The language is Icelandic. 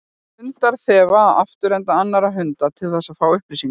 Hundar þefa af afturenda annarra hunda til þess að fá upplýsingar.